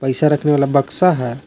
शीशा रखने वाला बक्सा है।